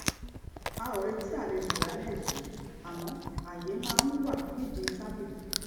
a ò retí àlejò lálẹ yìí àmọ àyè máa ń wà nídìí tábìlì